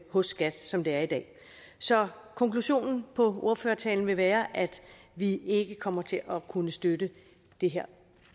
hos skat som det er i dag så konklusionen på ordførertalen vil være at vi ikke kommer til at kunne støtte det her